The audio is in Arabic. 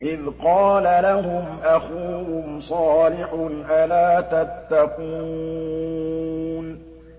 إِذْ قَالَ لَهُمْ أَخُوهُمْ صَالِحٌ أَلَا تَتَّقُونَ